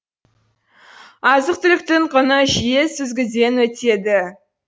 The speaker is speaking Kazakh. азық түліктің құны жиі сүзгіден өтеді